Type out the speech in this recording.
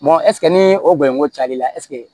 ɛsike ni o bonyo cayal'i la